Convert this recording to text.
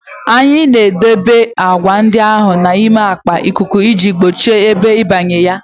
Anyị na-edebe agwa ndị ahụ n'ime akpa ikuku iji gbochie ebe ịbanye na ya